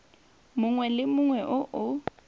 mongwe le mongwe o o